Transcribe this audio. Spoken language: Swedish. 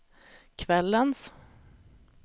kvällens